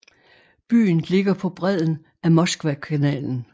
Byen ligger på bredden af Moskvakanalen